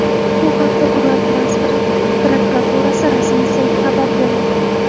Bu haqda Ural transport prokuraturasi rasmiy sayti xabar bermoqda .